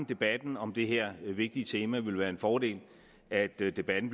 debatten om det her vigtige tema vil være en fordel at debatten